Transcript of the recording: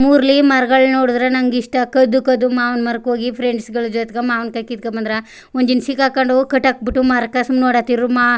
ಮರಗಳು ನೋಡಿದರೆ ನಂಗೆ ಇಷ್ಟ ಕದ್ದು ಕದ್ದು ಮಾವೂನ್ ಮರಕ್ಕೆ ಹೋಗಿ ಫ್ರೆಂಡ್ಸ್ ಗಳ ಜೊತೆಗೆ ಮಾವಿನ ಕಾಯಿ ಕಿತ್ಕೊಬಂದ್ರೆ ಒಂದ್ ದಿನ ಸಿಗಕೊಂಡು ಕಟ್ಟಬುಟ್ಟು ಮರಕ್ಕೆ ಸುಮ್ನೆ ನೋಡ್ತಿದ್ರು